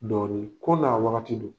Dɔɔnin, ko n'a wagati don.